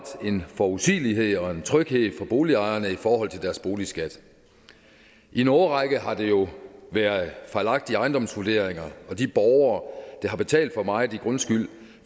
en forudsigelighed og en tryghed for boligejerne i forhold til deres boligskat i en årrække har der jo været fejlagtige ejendomsvurderinger og de borgere der har betalt for meget i grundskyld